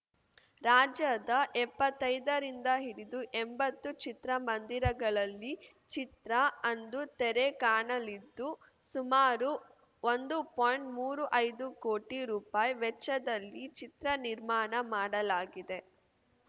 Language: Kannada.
ರಾಜ್ಯದ ಎಪ್ಪತ್ತೈದರಿಂದ ಹಿಡಿದುಎಂಬತ್ತು ಚಿತ್ರಮಂದಿರಗಳಲ್ಲಿ ಚಿತ್ರ ಅಂದು ತೆರೆ ಕಾಣಲಿದ್ದು ಸುಮಾರು ಒಂದು ಪಾಯಿಂಟ್ಮೂರು ಐದು ಕೋಟಿ ರುಪಾಯಿ ವೆಚ್ಚದಲ್ಲಿ ಚಿತ್ರ ನಿರ್ಮಾಣ ಮಾಡಲಾಗಿದೆ